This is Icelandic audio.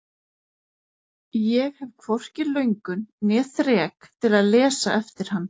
Ég hef hvorki löngun né þrek til að lesa eftir hann.